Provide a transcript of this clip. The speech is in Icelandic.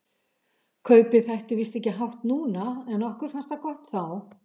Kaupið þætti víst ekki hátt núna, en okkur fannst það gott þá.